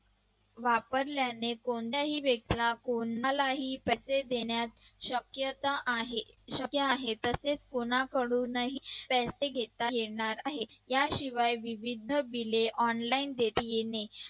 वापरताना कोणत्याही व्यक्तीला कोणालाही पैसे देण्यात शक्यता आहे शक्य आहे तसेच कोणाकडून पैसे घेता येणार आहे याशिवाय विविध bill online